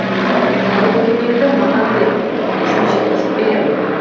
сәлемдемеңді маған бер өзім жеткізіп беремін